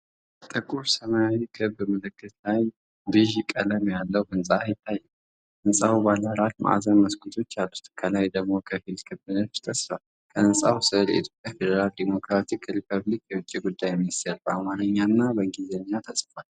ጥቁር ሰማያዊ ክብ ምልክት ላይ ቢዥ ቀለም ያለው ህንፃ ይታያል። ህንፃው ባለ አራት ማዕዘን መስኮቶች አሉት፤ ከላይ ደግሞ ከፊል ክብ ንድፍ ተስሏል። ከህንጻው ስር "የኢትዮጵያ ፌዴራላዊ ዴሞክራሲያዊ ሪፐብሊክ የውጭ ጉዳይ ሚኒስቴር" በአማርኛ እና በእንግሊዝኛ ተጽፏል።